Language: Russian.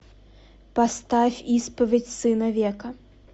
поставь исповедь сына века